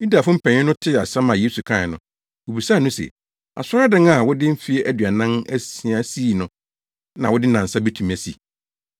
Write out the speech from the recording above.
Yudafo mpanyin no tee asɛm a Yesu kae no, wobisaa no se, “Asɔredan a wɔde mfe aduanan asia sii no, na wode nnansa betumi asi?”